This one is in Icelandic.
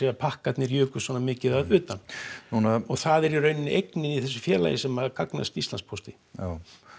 að pakkarnir jukust svona mikið að utan og það er í rauninni eign í þessu félagi sem að gagnast Íslandspósti já